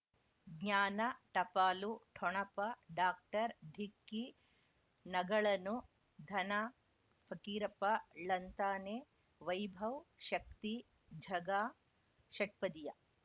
ಜ್ಞಾನ ಟಪಾಲು ಠೊಣಪ ಡಾಕ್ಟರ್ ಢಿಕ್ಕಿ ಣಗಳನು ಧನ ಫಕೀರಪ್ಪ ಳಂತಾನೆ ವೈಭವ್ ಶಕ್ತಿ ಝಗಾ ಷಟ್ಪದಿಯ